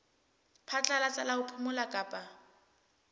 phatlalatsa la ho phomola kapa